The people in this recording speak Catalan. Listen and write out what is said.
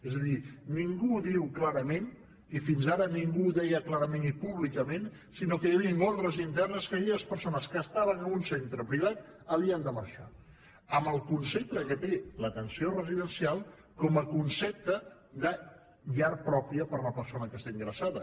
és a dir ningú ho diu clarament i fins ara ningú ho deia clarament i públicament sinó que hi havien ordres internes que aquelles persones que estaven en un centre privat havien de marxar amb el concepte que té l’atenció residencial com a concepte de llar pròpia per a la persona que està ingressada